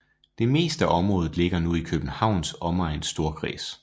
Det meste af området ligger nu i Københavns Omegns Storkreds